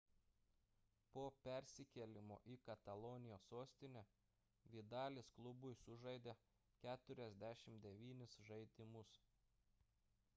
po persikėlimo į katalonijos sostinę vidalis klubui sužaidė 49 žaidimus